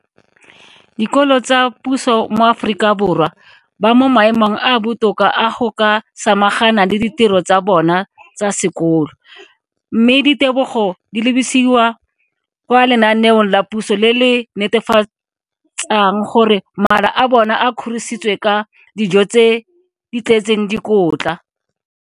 Dikolo tsa puso mo Aforika Borwa ba mo maemong a a botoka a go ka samagana le ditiro tsa bona tsa sekolo, mme ditebogo di lebisiwa kwa lenaaneng la puso le le netefatsang gore mala a bona a kgorisitswe ka dijo tse di tletseng dikotla.